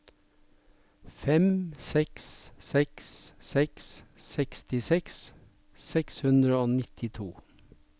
fem seks seks seks sekstiseks seks hundre og nittito